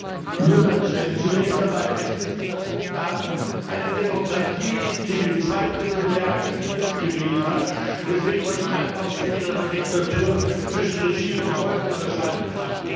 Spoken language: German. Frau Lunacek! Zunächst einmal Wissen Sie, dass Ungarn eine Demokratie ist, die mit Zweidrittelmehrheit Fidesz gewählt hat, weswegen man nicht einfach so wie in einer Diktatur zwischen Regime und Volk unterscheiden kann?